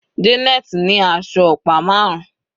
Janet ní aṣọ ọ̀pá marun.